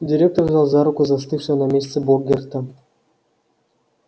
директор взял за руку застывшего на месте богерта